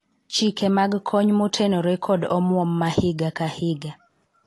chike mag kony motenore kod omwom ma higa ka higa